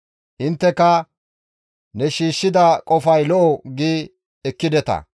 «Intteka, ‹Ne shiishshida qofay lo7o› gi ekkideta.